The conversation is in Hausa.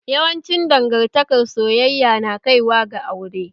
Yawancin dangantaka soyayya na kai wa ga aure